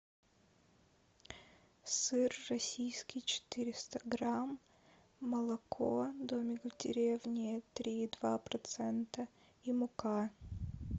сыр российский четыреста грамм молоко домик в деревне три и два процента и мука